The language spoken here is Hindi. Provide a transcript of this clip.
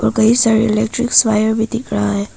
और कई सारे इलेक्ट्रिक वायर्स भी दिख रहा है।